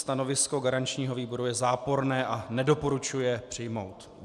Stanovisko garančního výboru je záporné a nedoporučuje přijmout.